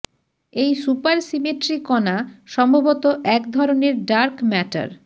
এই সুপারসিমেট্রি কণা সম্ভবত এক ধরনের ডার্ক ম্যাটার